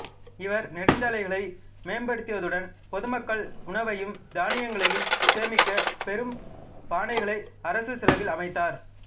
இவர் நெடுஞ்சாலைகளை மேம்படுத்தியதுடன் பொதுமக்கள் உணவையும் தானியங்களையும் சேமிக்கப் பெரும் பானைகளை அரசு செலவில் அமைத்தார்